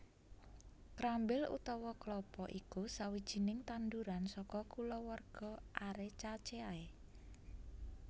Krambil utawa klapa iku sawijining tanduran saka kulawarga Arecaceae